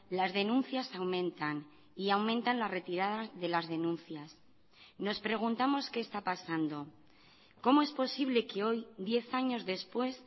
las denuncias aumentan y aumentan las retiradas de las denuncias nos preguntamos qué está pasando cómo es posible que hoy diez años después